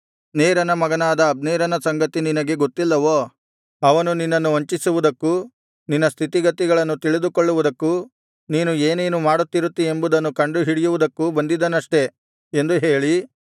ನೇರನ ಮಗನಾದ ಅಬ್ನೇರನ ಸಂಗತಿ ನಿನಗೆ ಗೊತ್ತಿಲ್ಲವೋ ಅವನು ನಿನ್ನನ್ನು ವಂಚಿಸುವುದಕ್ಕೂ ನಿನ್ನ ಸ್ಥಿತಿಗತಿಗಳನ್ನು ತಿಳಿದುಕೊಳ್ಳುವುದಕ್ಕೂ ನೀನು ಏನೇನು ಮಾಡುತ್ತಿರುತ್ತೀ ಎಂಬುದನ್ನು ಕಂಡುಹಿಡಿಯುವುದಕ್ಕೂ ಬಂದಿದ್ದನಷ್ಟೇ ಎಂದು ಹೇಳಿ